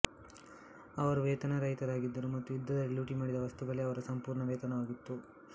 ಅವರು ವೇತನರಹಿತರಾಗಿದ್ದರು ಮತ್ತು ಯುದ್ಧದಲ್ಲಿ ಲೂಟಿಮಾಡಿದ ವಸ್ತುಗಳೇ ಅವರ ಸಂಪೂರ್ಣ ವೇತನವಾಗಿತ್ತು